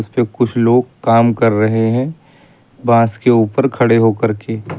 उसपे कुछ लोग काम कर रहे हैं बांस के ऊपर खड़े होकर के।